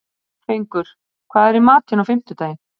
Fengur, hvað er í matinn á fimmtudaginn?